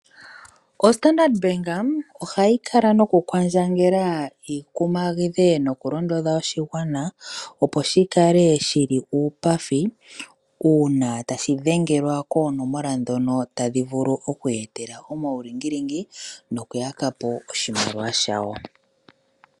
Standard Bank ohayi kala nokukwandjangela oshigwana opo shikale shi li uupathi uuna tashi dhengelwa koonomola ndhono tadhi vulu okuyeetela omaulingilingi nokuyaka po oshimaliwa shawo.